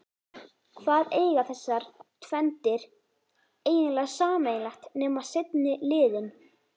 Hvað eiga þessar tvenndir eiginlega sameiginlegt nema seinni liðinn?